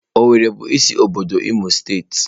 Owerri bụ isi obodo Imo steeti.